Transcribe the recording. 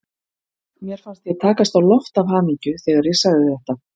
Mér fannst ég takast á loft af hamingju þegar ég sagði þetta.